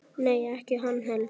Nei, ekki hann Helgi.